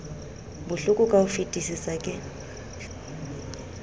bohloko ka ho fetisisa ke